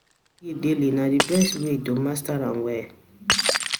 daily; na the best way to master am well.